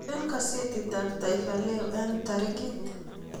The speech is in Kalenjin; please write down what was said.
eng gazetit ab taifa leo eng tarik